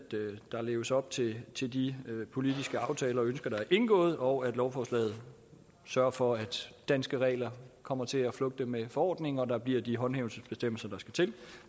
der leves op til til de politiske aftaler og ønsker der er indgået og at lovforslaget sørger for at danske regler kommer til at flugte med forordningen og at der bliver de håndhævelsesbestemmelser der skal til